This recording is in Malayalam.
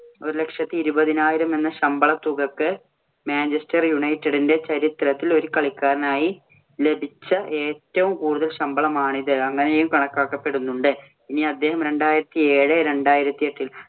ഒരുലക്ഷത്തി ഇരുപതിനായിരം എന്ന ശമ്പള തുകക്ക്. മാഞ്ചെസ്റ്റർ യുണൈറ്റഡിന്‍റെ ചരിത്രത്തിൽ ഒരു കളിക്കാരനായി ലഭിച്ച ഏറ്റവും കൂടുതൽ ശമ്പളമാണിത്. അങ്ങനെയും കണക്കാക്കപ്പെടുന്നുണ്ട്. ഇനി അദ്ദേഹം രണ്ടായിരത്തി ഏഴ്- രണ്ടായിരത്തി എട്ടില്‍